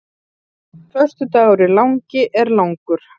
Föstudagurinn langi er langur.